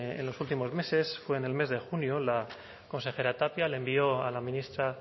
en los últimos meses o en el mes de junio la consejera tapia le envió a la ministra